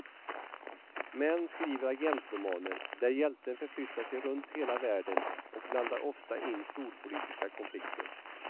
Män skriver agentromaner där hjälten förflyttar sig runt hela världen och blandar ofta in storpolitiska konflikter.